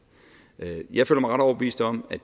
jeg føler mig ret overbevist om at